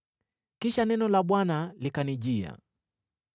Kisha neno la Bwana likanijia: